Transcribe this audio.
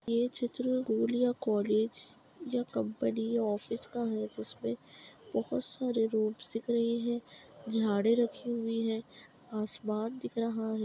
यह चित्र स्कूल या कॉलेज या कंपनी ऑफिस का है जिसमें बहुत सारे रूम्स दिख रही हैं झाड़े रखी हुई है आसमान दिख रहा है।